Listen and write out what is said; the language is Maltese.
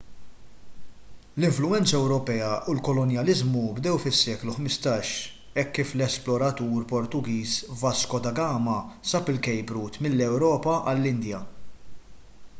l-influwenza ewropea u l-kolonjaliżmu bdew fis-seklu 15 hekk kif l-esploratur portugiż vasco da gama sab il-cape route mill-ewropa għall-indja